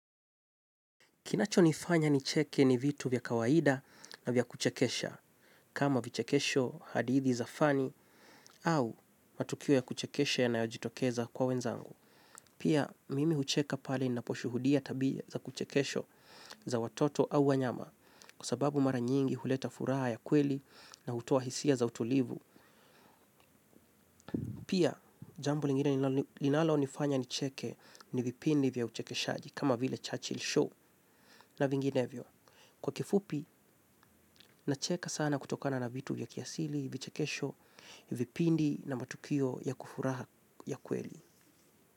Kinacho nifanya nicheke ni vitu vya kawaida na vya kuchekesha, kama vichekesho hadithi za fani au matukio ya kuchekesha yanayojitokeza kwa wenzangu. Pia, mimi hucheka pale ninaposhuhudia tabia za kuchekesho za watoto au wanyama, kwa sababu mara nyingi huleta furaha ya kweli na hutoa hisia za utulivu. Pia, jambo lingine linalo nifanya nicheke ni vipindi vya uchekeshaji kama vile Churchill Show na vinginevyo. Kwa kifupi, nacheka sana kutokana na vitu ya kiasili, vichekesho, vipindi na matukio ya kufuraha ya kweli.